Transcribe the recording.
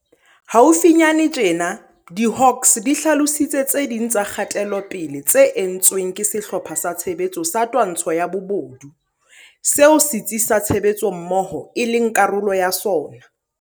Haufinyane tjena, diHawks di hlalositse tse ding tsa kgatelopele tse entsweng ke Sehlopha sa Tshebetso sa Twantsho ya Bobodu, seo Setsi sa Tshebetsommoho e leng karolo ya sona.